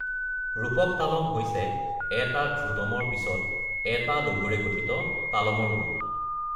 ৰূপক তালম হৈছে ১টা ধ্ৰুতম, তাৰ পিছত 1 টা লঘুৰে, গঠিত তালমৰ গোট।